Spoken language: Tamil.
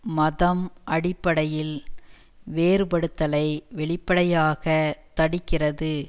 மதம் அடிப்படையில் வேறுபடுத்தலை வெளிப்படையாக தடுக்கிறது